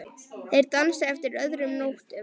Þeir dansa eftir öðrum nótum.